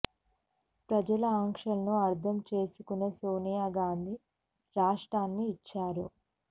ప్రజల ఆకాంక్షలను అర్థం చేసుకునే సోనియా గాంధీ రాష్ట్రాన్ని ఇచ్చారు